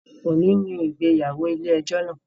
Ọni ni ìgbéyàwó ile-ẹjọ náa.